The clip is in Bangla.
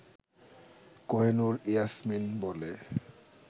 কহিনুর ইয়াসমিন বলে